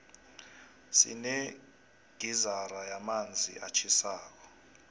sinegizara yamanzi atjhisako